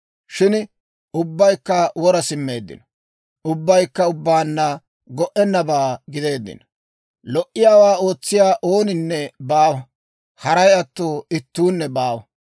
Shin ubbaykka wora simmeeddino; ubbaykka ubbaanna go"ennabaa gideeddino. Lo"iyaawaa ootsiyaa ooninne baawa; haray atto ittuunne baawa.